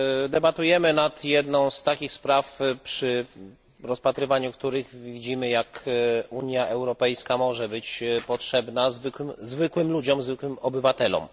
Debatujemy nad jedną z takich spraw, przy rozpatrywaniu których widzimy, jak Unia Europejska może być potrzebna zwykłym ludziom, zwykłym obywatelom.